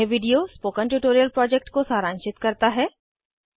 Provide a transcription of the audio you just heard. यह video spoken tutorial project को सारांशित करता है